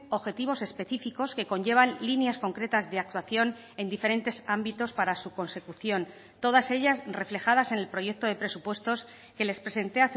objetivos específicos que conllevan líneas concretas de actuación en diferentes ámbitos para su consecución todas ellas reflejadas en el proyecto de presupuestos que les presenté